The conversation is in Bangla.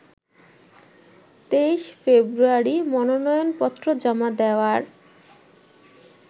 ২৩ ফেব্রুয়ারি মনোনয়নপত্র জমা দেওয়ার